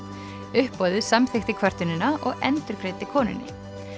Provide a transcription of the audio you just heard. uppboðið samþykkti kvörtunina og endurgreiddi konunni